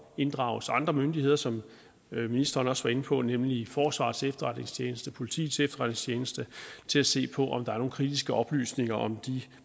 inddrages andre myndigheder som ministeren også var inde på nemlig forsvarets efterretningstjeneste og politiets efterretningstjeneste til at se på om der er nogle kritiske oplysninger om de